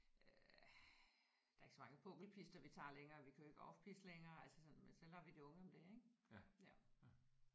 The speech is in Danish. Øh der er ikke så mange pukkelpister vi tager længere vi kører ikke off pist længere altså sådan men så lader vi de unge om det ik ja